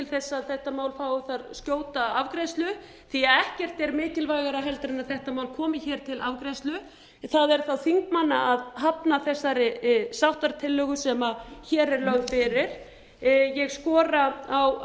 að þetta mál fái þar skjóta afgreiðslu því að ekkert er mikilvægara en að þetta mál komi hér til afgreiðslu það er þá þingmanna að hafna þessari sáttatillögu sem hér er lögð fyrir ég skora á